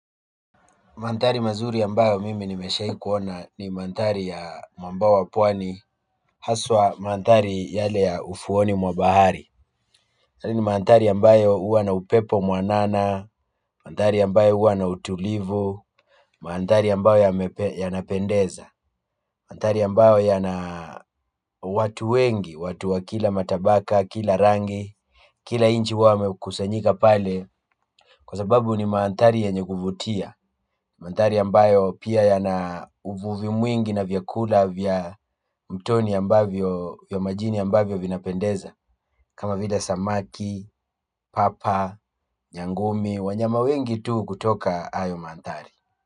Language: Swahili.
Mandhari mazuri ambayo mimi nimeshaikuona ni mandhari ya mabwawa pwani haswa mandhari yale ya ufuoni mwa bahari yale ni mandhari ambayo huwa na upepo mwanana. Mantari ya mbao uwa na utulivu mandhari ambayo yanapendeza mandhari ambayo yana watu wengi, watu wa kila matabaka, kila rangi kila nchi huwa wamekusanyika pale kwa sababu ni mandhari yenye kuvutia mandhari ambayo pia yana uvuvi mwingi na vyakula vya mtoni ambavyo vya majini ambavyo vinapendeza kama vile samaki, papa, nyangumi, wanyama wengi tu kutoka hayo mandhari.